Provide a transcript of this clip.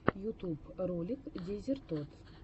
ютуб ролик дезертод